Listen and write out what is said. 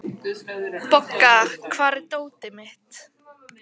Bogga, hvar er dótið mitt?